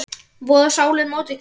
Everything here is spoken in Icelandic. voða sálar móti grandi.